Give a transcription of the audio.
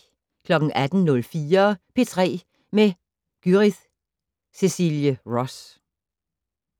18:04: P3 med Gyrith Cecilie Ross